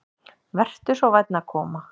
Vertu svo vænn að koma.